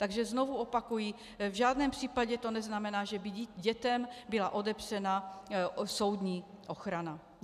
Takže znovu opakuji, v žádném případě to neznamená, že by dětem byla odepřena soudní ochrana.